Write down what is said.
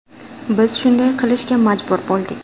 Biz shunday qilishga majbur bo‘ldik.